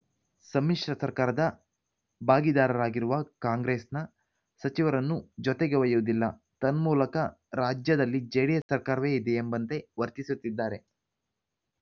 ಸಮ್ಮಿಶ್ರ ಸರ್ಕಾರದ ಭಾಗಿದಾರರಾಗಿರುವ ಕಾಂಗ್ರೆಸ್‌ನ ಸಚಿವರನ್ನು ಜೊತೆಗೆ ಒಯ್ಯುವುದಿಲ್ಲ ತನ್ಮೂಲಕ ರಾಜ್ಯದಲ್ಲಿ ಜೆಡಿಎಸ್‌ ಸರ್ಕಾರವೇ ಇದೆ ಎಂಬಂತೆ ವರ್ತಿಸುತ್ತಿದ್ದಾರೆ